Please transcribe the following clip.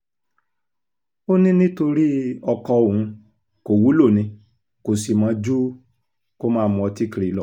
ó ní nítorí ọkọ òun kò wúlò ni kò sì mọ̀ ju kó máa mu ọtí kiri lọ